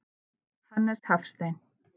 Hannes Hafstein.